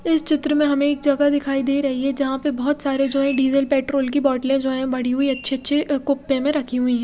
इस चित्र में हमे एक जगह दिखाई दे रही है जहा पे बोहोत सारे जो है डीज़ल पेट्रोल की बोटले जो है बड़ी हुई अच्छे अच्छे अ कोप्ते में रखी हुई है।